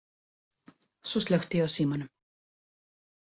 Svo slökkti ég á símanum.